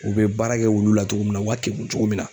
U be baara kɛ wulu la togo min na u ka keku cogo min na